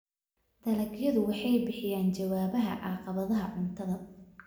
Dalagyadu waxay bixiyaan jawaabaha caqabadaha cuntada.